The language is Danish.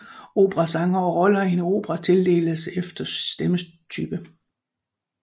Operasangere og rollerne i en opera inddeles efter stemmetype